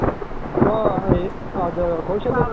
so ಅದು ಕೌಶಲ್ಯವನ್ನ